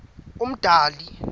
umdali